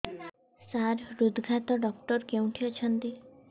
ସାର ହୃଦଘାତ ଡକ୍ଟର କେଉଁଠି ଅଛନ୍ତି